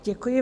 Děkuji.